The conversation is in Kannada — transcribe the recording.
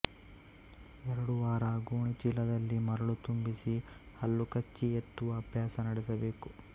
ಎರಡು ವಾರ ಗೋಣಿಚೀಲದಲ್ಲಿ ಮರಳು ತುಂಬಿಸಿ ಹಲ್ಲುಕಚ್ಚಿ ಎತ್ತುವ ಅಭ್ಯಾಸ ನಡೆಸಬೇಕು